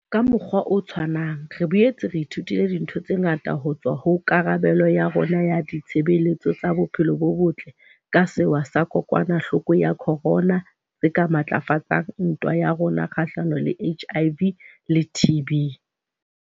Ka mokgwa o tshwanang, re boetse re ithutile dintho tse ngata ho tswa ho karabelo ya rona ya ditshebeletso tsa bophelo bo botle ka sewa sa kokwanahloko ya corona tse ka matlafatsang ntwa ya rona kgahlano le HIV le TB.